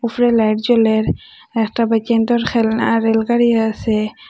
উফরে লাইট জ্বলের একটা বা কি সুন্দর খেলনা রেলগাড়ি আসে।